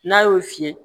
N'a y'o fiyɛ